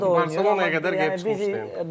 Hazırda da oynayır, Barselonaya qədər gedib çıxmışdı.